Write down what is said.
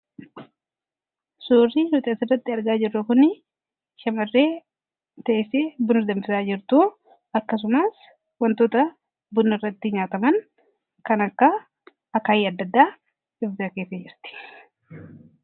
Suurri nuti asirratti argaa jirru kun shamarree teessee buna danfisaa jirtuu akkasumas wantoota buna irratti nyaataman kan akka akaawwii adda addaa of dura keessee jirti.